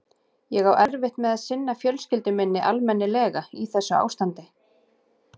Ég á erfitt með að sinna fjölskyldu minni almennilega í þessu ástandi.